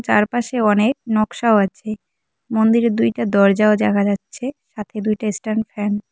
চারপাশে অনেক নকশাও আছে মন্দিরে দুইটা দরজাও দেখা যাচ্ছে সাথে দুইটা স্ট্যান্ড ফ্যান ।